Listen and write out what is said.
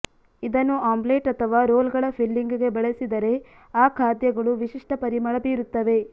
ಇದನ್ನು ಆಮ್ಲೆಟ್ ಅಥವಾ ರೋಲ್ಗಳ ಫಿಲ್ಲಿಂಗ್ಗೆ ಬಳಸಿದರೆ ಆ ಖಾದ್ಯಗಳು ವಿಶಿಷ್ಟ ಪರಿಮಳ ಬೀರುತ್ತವೆ